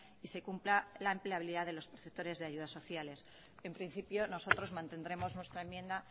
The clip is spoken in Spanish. y se cumpla la empleabilidad de los perceptores de ayudas sociales en principio nosotros mantendremos nuestra enmienda